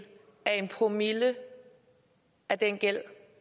af en promille af den gæld